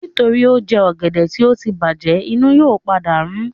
Nítorí ó jẹ ọ̀gẹ̀dẹ̀ tí ó tí bàjẹ̀, inú yóò padà rún